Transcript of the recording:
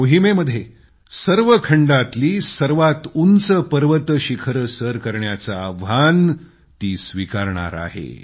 या मोहिमेमध्ये सर्व खंडातल्या सर्वात उंच पर्वत शिखरे सर करण्याचं काम ती करणार आहे